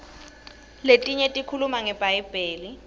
letinye tikhuluma ngebhayibheli